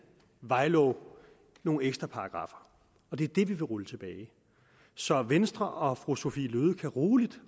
vejlov nogle ekstra paragraffer og det er det vi vil rulle tilbage så venstre og fru sophie løhde kan rolig